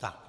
Díky.